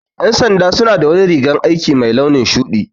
Ƴan sanda suna da wani rigan aiki mai launin shuɗi